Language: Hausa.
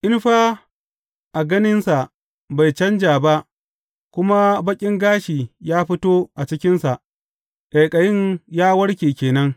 In fa a ganinsa bai canja ba kuma baƙin gashi ya fito a cikinsa, ƙaiƙayin ya warke ke nan.